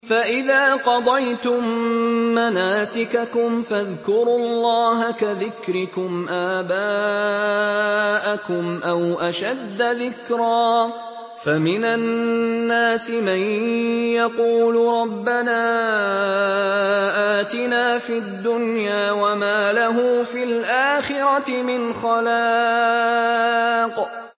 فَإِذَا قَضَيْتُم مَّنَاسِكَكُمْ فَاذْكُرُوا اللَّهَ كَذِكْرِكُمْ آبَاءَكُمْ أَوْ أَشَدَّ ذِكْرًا ۗ فَمِنَ النَّاسِ مَن يَقُولُ رَبَّنَا آتِنَا فِي الدُّنْيَا وَمَا لَهُ فِي الْآخِرَةِ مِنْ خَلَاقٍ